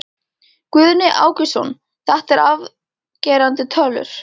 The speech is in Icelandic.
Guðni Ágústsson, þetta eru afgerandi tölur?